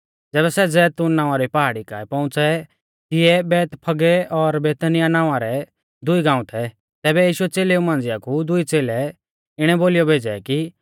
ज़ैबै सै जैतून नावां री पहाड़ी काऐ पौउंच़ै तिऐ बैतफगै और बेतनियाह नावां रै दुई गाऊं थै तैबै यीशुऐ च़ेलेऊ मांझ़िया कु दुई च़ेलै इणै बोलीयौ भेज़ै कि